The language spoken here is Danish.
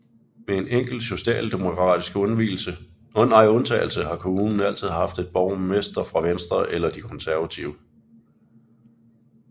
Med en enkelt socialdemokratisk undtagelse har kommunen altid haft en borgmester fra Venstre eller de Konservative